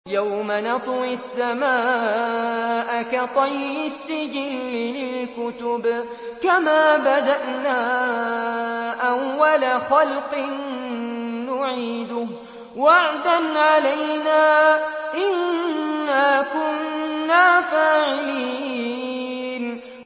يَوْمَ نَطْوِي السَّمَاءَ كَطَيِّ السِّجِلِّ لِلْكُتُبِ ۚ كَمَا بَدَأْنَا أَوَّلَ خَلْقٍ نُّعِيدُهُ ۚ وَعْدًا عَلَيْنَا ۚ إِنَّا كُنَّا فَاعِلِينَ